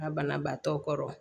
Ŋa banabaatɔ kɔrɔ